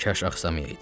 Kaş axsamayaydı.